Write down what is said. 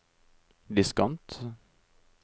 diskant